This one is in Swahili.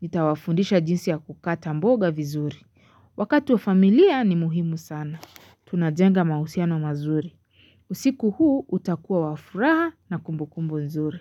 Nitawafundisha jinsi ya kukata mboga vizuri. Wakati wa familia ni muhimu sana. Tunajenga mahusiano mazuri. Usiku huu utakuwa wafuraha na kumbukumbu nzuri.